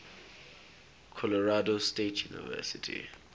colorado state university